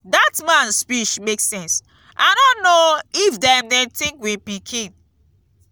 dat man speech make sense i no know if dem dey think we pikin.